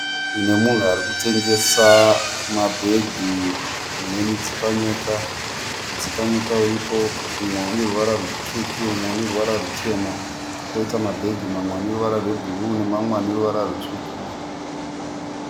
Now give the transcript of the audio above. Munhu arikutengesa mabag nemudzipanyota. Mudzipanyota iripo umwe uneruvara rutsvuku umwe uneruvara rutema. Koita mabhegi amwe aneruvara rutema nemamwe aneruvara rutsvuku.